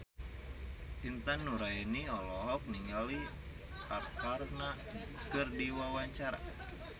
Intan Nuraini olohok ningali Arkarna keur diwawancara